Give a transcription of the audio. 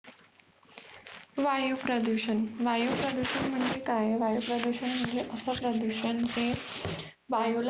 वायू प्रदुषण, वायू प्रदुषण म्हणजे काय? वायू प्रदुषण म्हणजे असे प्रदुषण जे वायु ला